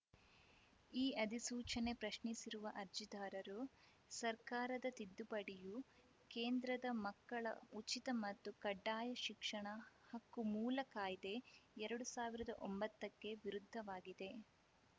ಈ ಅಧಿಸೂಚನೆ ಪ್ರಶ್ನಿಸಿರುವ ಅರ್ಜಿದಾರರು ಸರ್ಕಾರದ ತಿದ್ದುಪಡಿಯು ಕೇಂದ್ರದ ಮಕ್ಕಳ ಉಚಿತ ಮತ್ತು ಕಡ್ಡಾಯ ಶಿಕ್ಷಣ ಹಕ್ಕು ಮೂಲ ಕಾಯ್ದೆ ಎರಡು ಸಾವಿರದ ಒಂಬತ್ತಕ್ಕೆ ವಿರುದ್ಧವಾಗಿದೆ